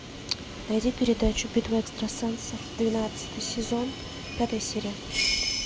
найди передачу битва экстрасенсов двенадцатый сезон пятая серия